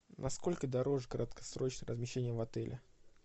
на сколько дороже краткосрочное размещение в отеле